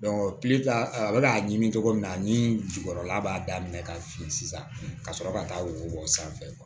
a bɛ k'a ɲimi cogo min na ni jukɔrɔla b'a daminɛ ka fin sisan ka sɔrɔ ka taa wo bɔ sanfɛ